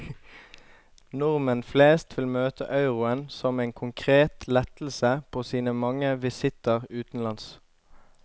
Nordmenn flest vil møte euroen som en konkret lettelse på sine mange visitter utenlands.